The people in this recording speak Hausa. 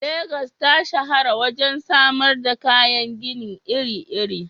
Legas ta shahara wajen samar da kayan gini iri-iri.